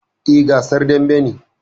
Eh, gasar dambe ne